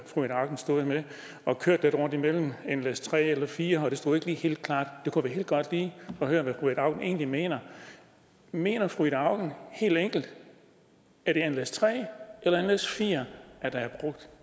fru ida auken stod og kørte lidt rundt imellem nles3 og nles4 det stod ikke lige helt klart det kunne være godt lige at høre hvad fru ida auken egentlig mener mener fru ida auken helt enkelt at det er nles3 eller nles4 der er brugt